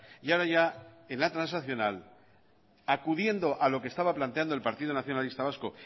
y ahora ya en la transaccional acudiendo a lo que estaba planteando el partido nacionalista vasco